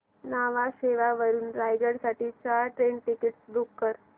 न्हावा शेवा वरून रायगड साठी चार ट्रेन टिकीट्स बुक कर